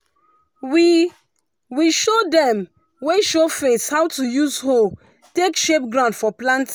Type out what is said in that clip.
we we show dem wey show face how to use hoe take shape ground for plant